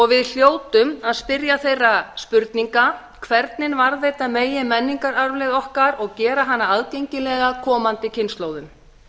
við hljótum að spyrja þeirra spurninga hvernig varðveita megi menningararfleifð okkar og gera hana aðgengilega komandi kynslóðum